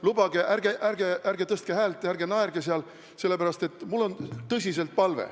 Lubage, ärge tõstke häält ja ärge naerge seal!